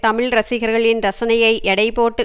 தமிழ் ரசிகர்களின் ரசனையை எடை போட்டு